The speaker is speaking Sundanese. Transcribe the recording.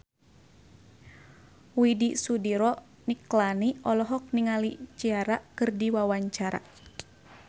Widy Soediro Nichlany olohok ningali Ciara keur diwawancara